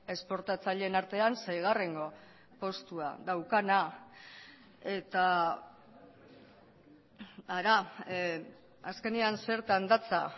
esportatzaileen artean seigarrengo postua daukana eta hara azkenean zertan datza